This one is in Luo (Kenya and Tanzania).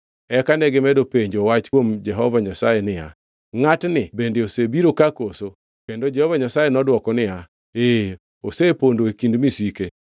Eka negimedo penjo wach kuom Jehova Nyasaye niya, “Ngʼatni bende osebiro ka koso?” Kendo Jehova Nyasaye nodwoko niya, “Ee, osepondo e kind misike.”